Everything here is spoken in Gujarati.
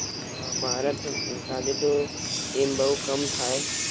ના, મારા થોડી સાથે તો એમ બવ કમ થાય.